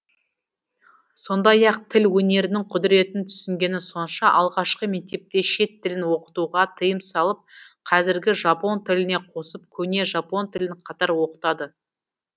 сондай ақ тіл өнерінің құдыретін түсінгені сонша алғашқы мектепте шет тілін оқытуға тиым салып кәзіргі жапон тіліне қосып көне жапон тілін қатар оқытады